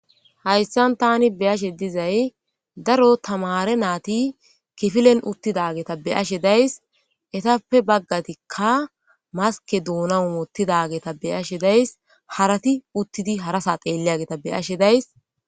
hayssan tani beyashe dizay daro tamare naati kifilen uttida geeta be'ashe days etappe baggatikka maske duuna wotidageta beyashe days harati uttidi harasa xeelliyageeta be'ashe days.